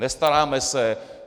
Nestaráme se.